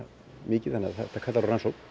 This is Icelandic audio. mikið þannig að þetta kallar á rannsókn